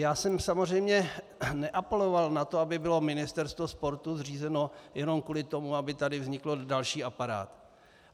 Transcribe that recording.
Já jsem samozřejmě neapeloval na to, aby bylo ministerstvo sportu zřízeno jenom kvůli tomu, aby tady vznikl další aparát.